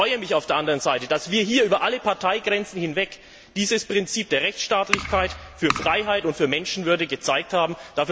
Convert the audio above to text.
Aber ich freue mich auf der anderen Seite, dass wir hier über alle Parteigrenzen hinweg dieses Prinzip der Rechtsstaatlichkeit für Freiheit und für Menschenwürde gezeigt haben.